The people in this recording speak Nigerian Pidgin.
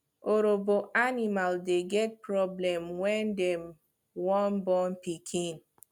orobo animal dey get problem when dem wan born pikin